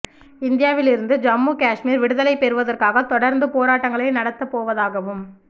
இந்தியாவில் இருந்து ஜம்மு காஷ்மீர் விடுதலை பெறுவதற்காக தொடர்ந்து போராட்டங்களை நடத்த போவதாகவும்